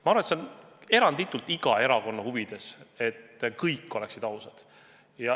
Ma arvan, et see on eranditult iga erakonna huvides, et kõik oleksid ausad.